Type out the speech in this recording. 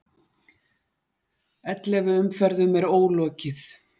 Ellefu umferðum er ólokið